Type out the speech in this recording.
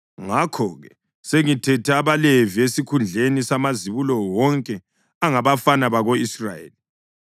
Ngakho-ke sengithethe abaLevi esikhundleni samazibulo wonke angabafana bako-Israyeli.